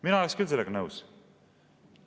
Mina oleks küll sellega nõus.